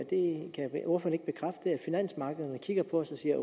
finansmarkederne kigger på os og siger